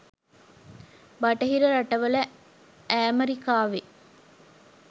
බටහිර රටවල ඈමරිකාවෙ